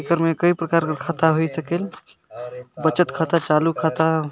एकर में कई प्रकार के खाता होई सकेल बचत खाता चालू खाता --